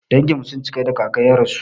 Danginmu sun cika da kaka ya rasu.